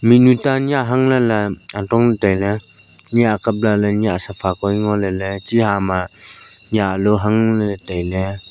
mihnu ta nyiah hang ley ley atong ley tai ley nyiah kap lah ley safa hoi ngo ley ley chi hama nyiah alu hang ley tai ley.